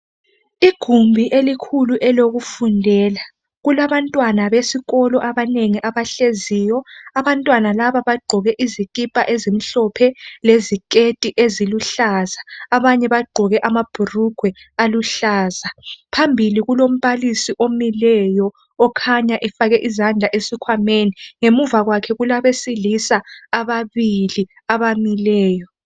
Igumbi elikhulu. elokufundela kulabantwana besikolo abanengi abahleziyo. Abantwana laba bagqoke izikipa ezimhlophe leziketi eziluhlaza abanye bagqoke amabhulugwe aluhlaza. Phambili kulombalisi omileyo okhanya efake izandla esikhwameni. Ngemuva kwakhe kulabesilisa ababili abamileyo.